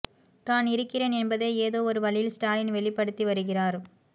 தான் இருக்கிறேன் என்பதை ஏதோ ஒரு வழியில் ஸ்டாலின் வெளிப்படுத்தி வருகிறார்